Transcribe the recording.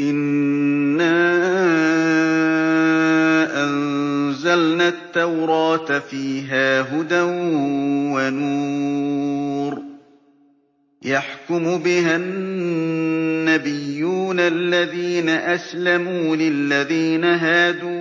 إِنَّا أَنزَلْنَا التَّوْرَاةَ فِيهَا هُدًى وَنُورٌ ۚ يَحْكُمُ بِهَا النَّبِيُّونَ الَّذِينَ أَسْلَمُوا لِلَّذِينَ هَادُوا